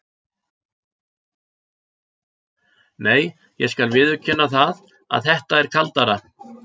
Nei, ég skal viðurkenna það að þetta er kaldara.